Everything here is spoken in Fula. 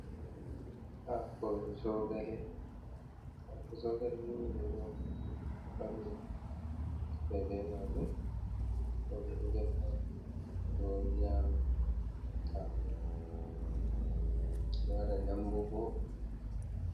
Hako zogale ni be do wadira nyebbe be majun, denbo bedo defa bedo nyama do wada dambuhoi.